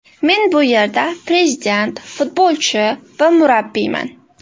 Men bu yerda prezident, futbolchi va murabbiyman!